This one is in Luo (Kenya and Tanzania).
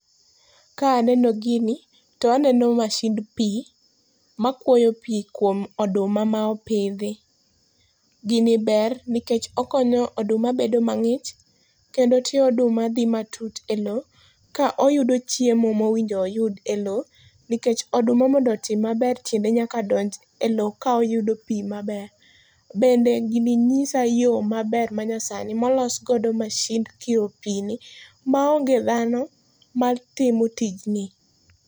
Ka aneno gini, to aneno masind pi makuoyo pi kuom oduma ma opidhi. Gini ber nikech okonyo oduma bedo mang'ich, kendo tie oduma dhi matut elo ka oyudo chiemo mowinjo oyud elo, nikech oduma mondo otim maber, tiende nyaka donj elo ka oyudo pi maber. Bende gini nyisa yo maber manyasani molos godo masind kiro pi ni maonge dhano matimo tijni.